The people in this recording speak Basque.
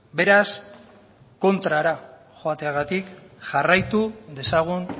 beraz kontrara joateagatik jarraitu dezagun